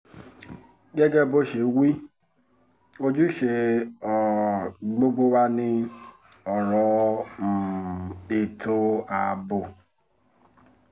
gẹ́gẹ́ bó ṣe wí ojúṣe um gbogbo wa ni ọ̀rọ̀ um ètò ààbò